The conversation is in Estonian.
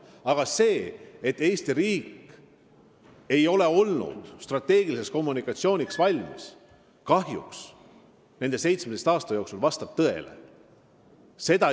Aga see, et Eesti riik ei ole kahjuks 17 aastat olnud strateegiliseks kommunikatsiooniks valmis, vastab tõele.